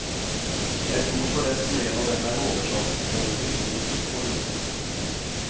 Jeg tror forresten en av dem er oversatt både til polsk og russisk.